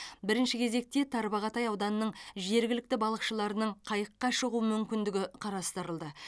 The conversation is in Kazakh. бірінші кезекте тарбағатай ауданының жергілікті балықшыларының қайыққа шығу мүмкіндігі қарастырылды